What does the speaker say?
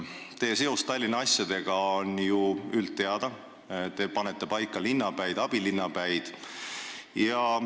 Teie seos Tallinna asjadega on ju üldteada, te panete paika linnapäid ja abilinnapäid.